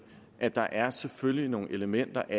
at der selvfølgelig er nogle elementer i